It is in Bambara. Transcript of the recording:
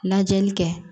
Lajɛli kɛ